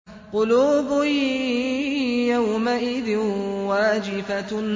قُلُوبٌ يَوْمَئِذٍ وَاجِفَةٌ